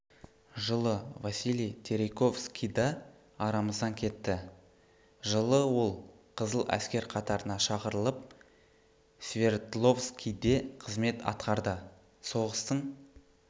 жылы василий терейковский да арамыздан кетті жылы ол қызыл әскер қатарына шақырылып свердловскийде қызмет атқарды соғыстын